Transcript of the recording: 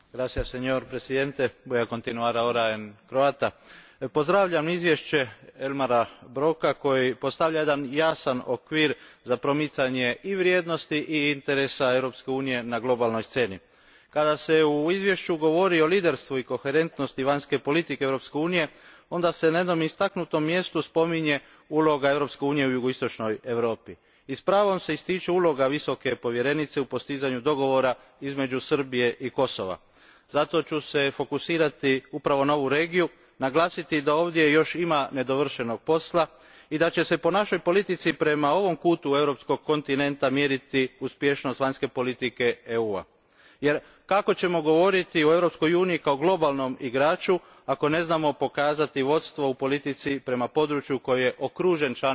Gospodine predsjedavajući, pozdravljam izvješće Elmara Broka koje postavlja jedan jasan okvir za promicanje i vrijednosti i interesa Europske unije na globalnoj sceni. Kada se u izvješću govori o liderstvu i koherentnosti vanjske politike Europske unije onda se na jednom istaknutom mjestu spominje uloga Europske unije u jugoistočnoj Europi. I s pravom se ističe uloga Visoke povjerenice u postizanju dogovora između Srbije i Kosova. Zato ću se fokusirati upravo na ovu regiju, naglasiti da ovdje još ima nedovršenog posla i da će se po našoj politici prema ovom kutu europskog kontinenta mjeriti uspješnost vanjske politike EU a jer kako ćemo govoriti o Europskoj uniji kao globalnom igraču ako ne znamo pokazati vodstvo u politici prema području koje je okruženo članicama Europske unije.